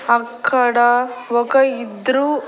అక్కడా ఒక ఇద్రూ --